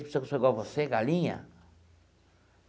Pensa que eu sou igual a você, galinha?